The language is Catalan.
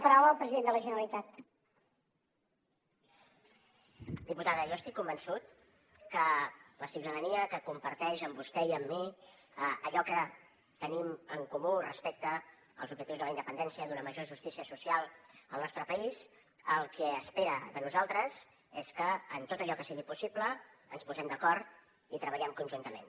diputada jo estic convençut que la ciutadania que comparteix amb vostè i amb mi allò que tenim en comú respecte als objectius de la independència d’una major justícia social al nostre país el que espera de nosaltres és que en tot allò que sigui possible ens posem d’acord i treballem conjuntament